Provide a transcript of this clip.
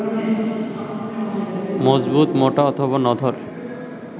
মজবুত, মোটা অথবা নধর